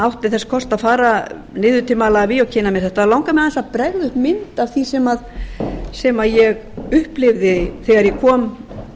átti þess kost að fara niður til malaví og kynna mér þetta þá langar mig aðeins að bregða upp mynd af því sem ég upplifði þegar ég kom